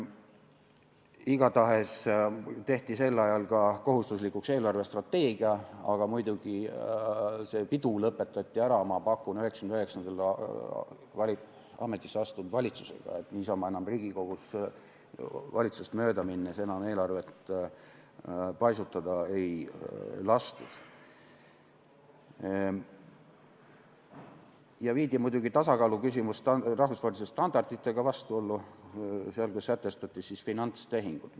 Igatahes tehti sel ajal kohustuslikuks ka eelarvestrateegia, aga muidugi selle peo lõpetas, ma pakun, 1999. aastal ametisse astunud valitsus, niisama valitsusest mööda minnes Riigikogus enam eelarvet paisutada ei lastud ja muidugi viidi tasakaaluküsimus rahvusvaheliste standarditega vastuollu, kui sätestati finantstehingud.